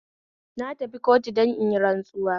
Na tafi kotu don inyi rantsuwa